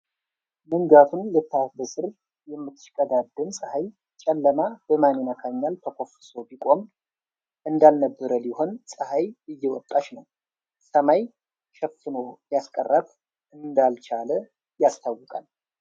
መንጋቱን ልታበስር የምትሽቀዳደም ፀሐይ ፤ ጨለማ በማን ይነካኛል ተኮፍሶ ቢቆይም ፤ እንዳልነበር ሊሆን ፀሐይ እየተወጣች ነው ፤ ሰማይ ሸፎኖ ሊያስቀራት እንዳልቻለ ያስታውቃል።